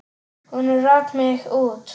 Hún rak mig út.